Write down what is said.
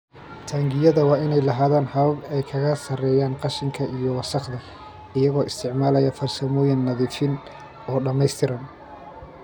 Taangiyada waa inay lahaadaan habab ay kaga saarayaan qashinka iyo wasakhda iyagoo isticmaalaya farsamooyin nadiifin oo dhamaystiran.